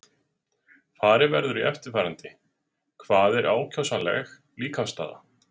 Farið verður í eftirfarandi: Hvað er ákjósanleg líkamsstaða?